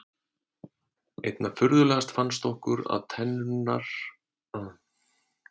Einna furðulegast fannst okkur að tennur stelpunnar virtust þola allt.